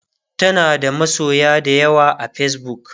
tanada masoya da yawa a Facebook